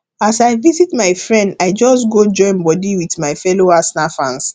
as i visit my friend i just go join body with my fellow arsenal fans